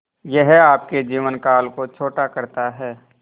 यह आपके जीवन काल को छोटा करता है